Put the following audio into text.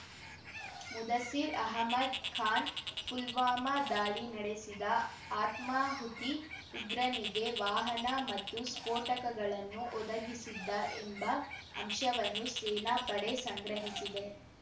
ಮುದಸಿರ್ ಅಹಮದ್ ಖಾನ್ ಪುಲ್ವಾಮಾ ದಾಳಿ ನಡೆಸಿದ ಆತ್ಮಾಹುತಿ ಉಗ್ರನಿಗೆ ವಾಹನ ಮತ್ತು ಸ್ಫೋಟಕಗಳನ್ನು ಒದಗಿಸಿದ್ದ ಎಂಬ ಅಂಶವನ್ನು ಸೇನಾ ಪಡೆ ಸಂಗ್ರಹಿಸಿದೆ